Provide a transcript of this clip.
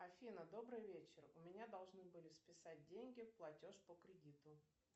афина добрый вечер у меня должны были списать деньги платеж по кредиту